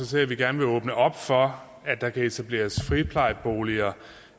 til at vi gerne vil åbne op for at der kan etableres friplejeboliger